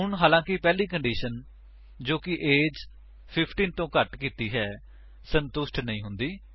ਹੁਣ ਹਾਲਾਂਕਿ ਪਹਿਲੀ ਕੰਡੀਸ਼ਨ ਜੋ ਕਿ ਏਜ 15 ਤੋਂ ਘੱਟ ਕੀਤੀ ਹੈ ਸੰਤੁਸ਼ਟ ਨਹੀਂ ਹੁੰਦੀ